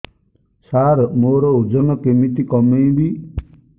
ସାର ଓଜନ କେମିତି କମେଇବି